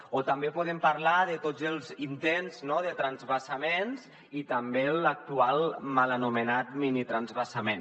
o també podem parlar de tots els intents de transvasaments i també l’actual mal anomenat minitransvasament